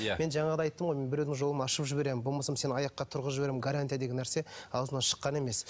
иә мен жаңағыда айттым ғой мен біреудің жолын ашып жіберемін болмаса сені аяққа тұрғызып жіберемін гарантия деген нәрсе аузымнан шыққан емес